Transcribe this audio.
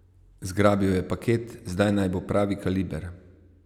Zgrabil je paket, zdaj naj bo pravi kaliber.